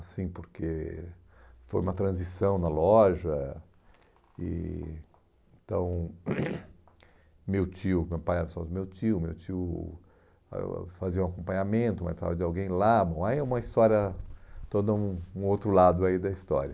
assim, porque foi uma transição na loja, e então meu tio, meu pai era sócio do meu tio, meu tio ãh fazia um acompanhamento, mas precisava de alguém lá, aí é um aí é uma história, todo um outro lado aí da história.